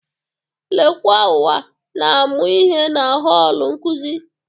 Lekwauwa na-amụ ihe na họl nkuzi.